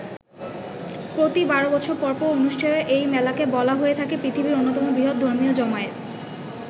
প্রতি বারো বছর পর পর অনুষ্ঠেয় এই মেলাকে বলা হয়ে থাকে পৃথিবীর অন্যতম বৃহৎ ধর্মীয় জমায়েত।